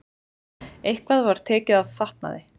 Eitthvað var tekið af fatnaði